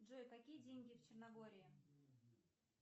джой какие деньги в черногории